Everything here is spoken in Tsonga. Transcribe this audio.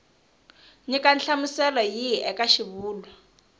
nyika nhlamuselo yihi eka xivulwa